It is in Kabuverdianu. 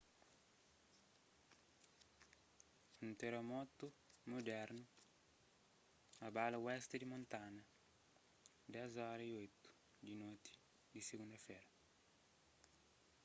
un teramotu mudernu abala oesti di montana 10:08 di noti di sigunda-fera